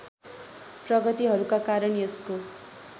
प्रगतिहरूका कारण यसको